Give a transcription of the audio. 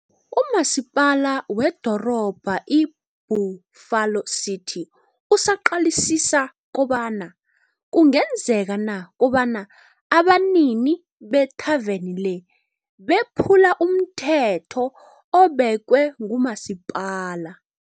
uMasipala weDorobha i-Buffalo City usaqalisisa kobana kungenzeka na, kobana abanini bethaveni le, bephule umthetho obekwe nguMasipala.